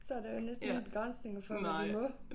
Så der jo næsten ingen begrænsninger for hvad de må